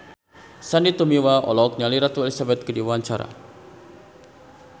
Sandy Tumiwa olohok ningali Ratu Elizabeth keur diwawancara